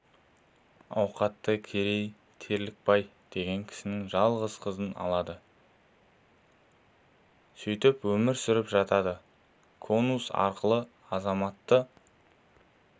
ауқатты керей терлікбай деген кісінің жалғыз қызын алады сөйтіп өмір сүріп жатады консул арқылы азаматы